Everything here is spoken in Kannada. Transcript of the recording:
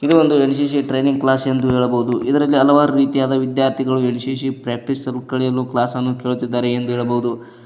ಇದು ಒಂದು ಎನ್_ಸಿ_ಸಿ ಟ್ರೈನಿಂಗ್ ಕ್ಲಾಸ್ ಎಂದು ಹೇಳಬಹುದು ಇದರಲ್ಲಿ ಹಲವಾರು ರೀತಿಯಾದ ವಿದ್ಯಾರ್ಥಿಗಳು ಎನ್_ಸಿ_ಸಿ ಪ್ರಾಕ್ಟೀಸ್ ಕ್ಲಾಸ್ ಅನ್ನು ಕೇಳುತ್ತಿದ್ದಾರೆ ಎಂದು ಹೇಳಬಹುದು.